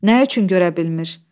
Nə üçün görə bilmir?